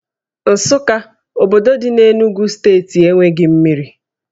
Nsukka, obodo dị n'Enugwu steeti enweghị mmiri